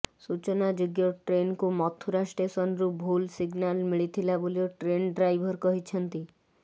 ସୂଚନାଯୋଗ୍ୟ ଟ୍ରେନକୁ ମଥୁରା ଷ୍ଟେସନରୁ ଭୁଲ ସିଗନାଲ ମିଳିଥିଲା ବୋଲି ଟ୍ରେନ ଡ୍ରାଇଭର କହିଛନ୍ତି